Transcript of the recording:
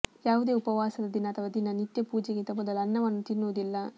ಯಾವುದೆ ಉಪವಾಸದ ದಿನ ಅಥವಾ ದಿನ ನಿತ್ಯ ಪೂಜೆಗಿಂತ ಮೊದಲು ಅನ್ನವನ್ನು ತಿನ್ನುವುದಿಲ್ಲ